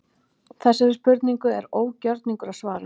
Þessari spurningu er ógjörningur að svara.